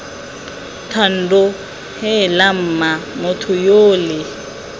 thando heela mma motho yole